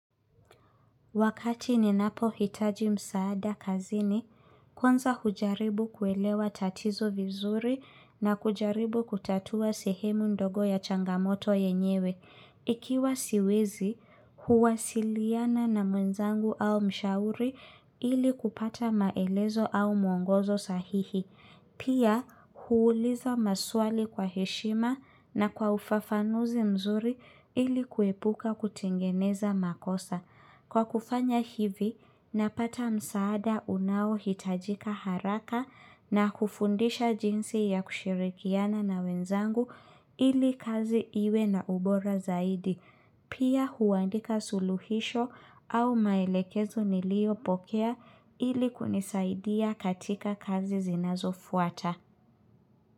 Wakati ninapo hitaji msaada kazini, kwanza hujaribu kuelewa tatizo vizuri na kujaribu kutatua sehemu ndogo ya changamoto yenyewe. Ikiwa siwezi, huwa siliana na mwenzangu au mshauri ili kupata maelezo au mwongozo sahihi. Pia, huuliza maswali kwa heshima na kwa ufafanuzi mzuri ili kuepuka kutengeneza makosa. Kwa kufanya hivi, napata msaada unao hitajika haraka na kufundisha jinsi ya kushirikiana na wenzangu ili kazi iwe na ubora zaidi. Pia huandika suluhisho au maelekezo nilio pokea ili kunisaidia katika kazi zinazo fuata.